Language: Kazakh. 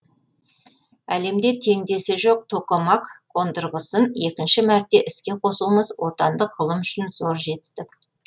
әлемде теңдесі жоқ токамак қондырғысын екінші мәрте іске қосуымыз отандық ғылым үшін зор жетістік